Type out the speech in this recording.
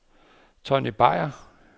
Tonny Beyer